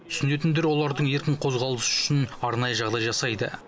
түсінетіндер олардың еркін қозғалысы үшін арнайы жағдай жасайды